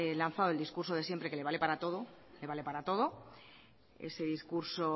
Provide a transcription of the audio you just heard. lanzado el discurso de siempre que le vale para todo le vale para todo ese discurso